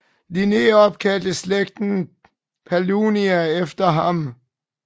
Linné opkaldte slægten Paullinia efter ham